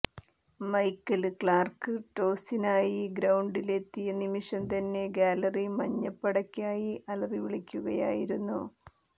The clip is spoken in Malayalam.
മൈക്കല് ക്ലാര്ക്ക് ടോസിനായി ഗ്രൌണ്ടില് എത്തിയ നിമിഷം തന്നെ ഗ്യാലറി മഞ്ഞപ്പടയ്ക്കായി അലറി വിളിക്കുകയായിരുന്നു